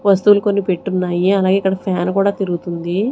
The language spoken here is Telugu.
వస్తువులు కొన్ని పెట్టున్నాయి అలాగే ఇక్కడ ఫ్యాన్ కూడా తిరుగుతుంది.